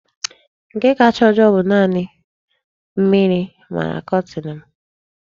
Nke kacha ojoo bụ na mmiri mara kọtin m.